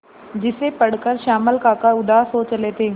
जिसे पढ़कर श्यामल काका उदास हो चले थे